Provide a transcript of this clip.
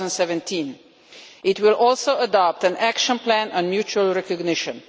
2017. It will also adopt an action plan on mutual recognition.